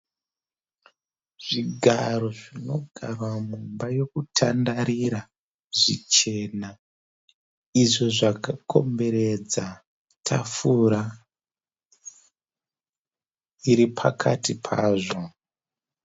Zvigaro zvinogarwa mumba yokutandarira zvichena izvo zvakakomberedza tafura iripakati pazvo.